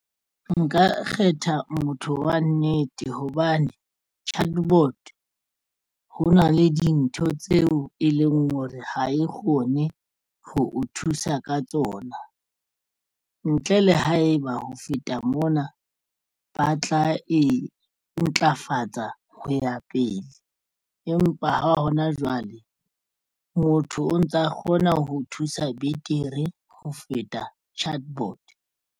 Nka kgetha motho wa nnete hobane chatbot ho na le dintho tseo e leng hore ha e kgone ho o thusa ka tsona ntle le haeba ho feta mona ba tla e ntlafatsa ho ya pele, empa ha hona jwale motho o ntsa kgona ho thusa betere ho feta chatbot.